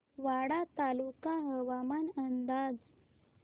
वाडा तालुका हवामान अंदाज